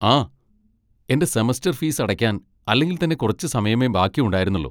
ആ, എൻ്റെ semester fees അടക്കാൻ അല്ലെങ്കിൽ തന്നെ കുറച്ച് സമയമേ ബാക്കിയുണ്ടായിരുന്നുള്ളൂ.